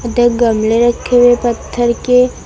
गमले रखे हुए पत्थर के--